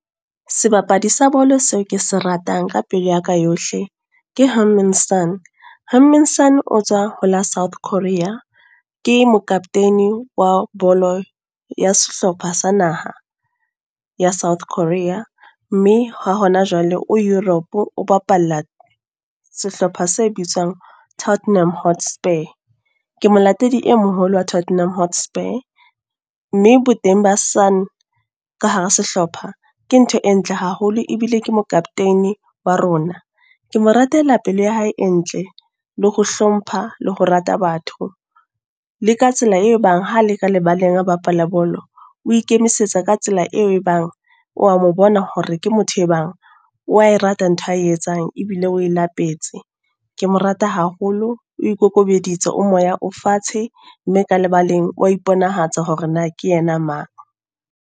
Sebapadi sa bolo seo ke se ratang ka pelo ya ka yohle, ke Heung-min Son. Heung-min Son, o tswa ho la South Korea, ke mokaptene wa bolo ya sehlopha sa naha, ya South Korea. Mme ha hona jwale o Europe, o bapalla sehlopha se bitswang Tottenham Hotspur. Ke molatedi e moholo wa Tottenham Hotspur. Mme bo teng ba Son ka hara sehlopha, ke ntho e ntle haholo ebile ke mo-captain wa rona. ke mo ratela pele ya hae e ntle, le ho hlompha, le ho rata batho. Le ka tsela e bang ha le ka lebaleng bapala bolo. O ikemisetsa ka tsela eo e bang wa mo bona hore ke motho e bang, wa e rate ntho a etsang, ebile o e lapetse. Ke mo rata haholo, o ikokobeditse o moya o fatshe. Mme ka lebaleng wa iponahatsa hore na ke yena mang.